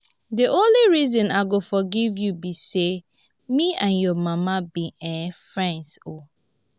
the only reason i go forgive you be say me and your mama be um friends um